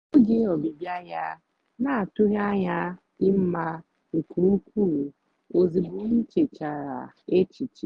oge ọbịbịa ya na-atụghị anya ya dị mma nke ukwuu ozịgbọ m nchechara echiche.